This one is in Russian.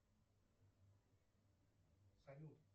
салют